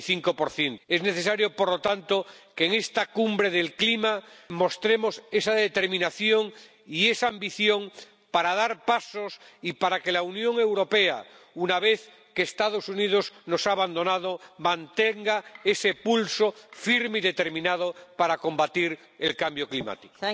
45 Es necesario, por lo tanto, que en esta Cumbre del Clima mostremos esa determinación y esa ambición para dar pasos y para que la Unión Europea, una vez que los Estados Unidos nos han abandonado, mantenga ese pulso firme y determinado para combatir el cambio climático.